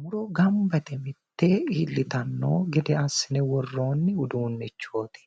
muro gamba yite mittee iillitanno gede assine worroonni uduunnichooti